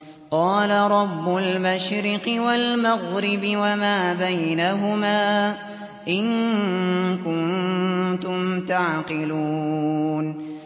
قَالَ رَبُّ الْمَشْرِقِ وَالْمَغْرِبِ وَمَا بَيْنَهُمَا ۖ إِن كُنتُمْ تَعْقِلُونَ